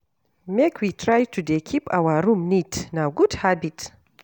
Make we try to dey keep our room neat, na good habit.